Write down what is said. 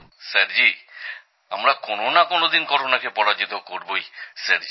sir ji আমরা কোনও না কোনো দিন করোনাকে পরাজিত করবই স্যার জি